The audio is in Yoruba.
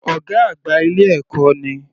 Ọ̀gá àgbà ilé ẹ̀kọ́ ni.